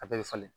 A bɛɛ bɛ falen